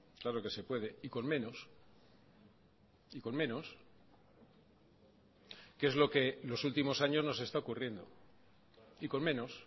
claro que se puede y con menos y con menos que es lo que los últimos años nos está ocurriendo y con menos